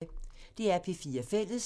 DR P4 Fælles